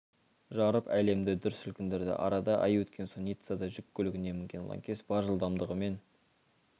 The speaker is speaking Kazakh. жарып әлемді дүр сілкіндірді арада ай өткен соң ниццада жүк көлігіне мінген лаңкес бар жылдамдығымен